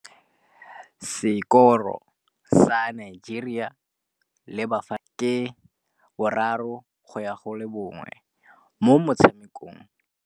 Sekôrô sa Nigeria le Bafanabafana ke 3-1 mo motshamekong wa malôba.